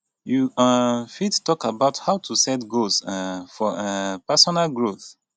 you um fit talk about how to set goals um for um personal growth